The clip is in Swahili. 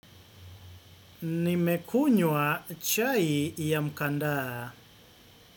Nimekunywa chai ya mkandaa.